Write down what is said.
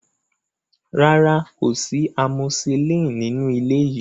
Rárá, kò sí amoxicillin nínú ilé yìí.